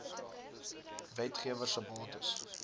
wetgewer se bates